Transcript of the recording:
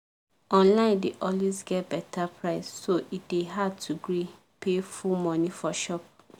online dey always get better price so e dey hard to gree pay full money for shop.